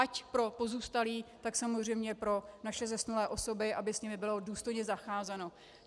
Ať pro pozůstalé, tak samozřejmě pro naše zesnulé osoby, aby s nimi bylo důstojně zacházeno.